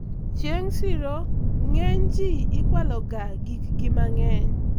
chieng' siro ng'eny ji ikwalo ga gik gi mang'eny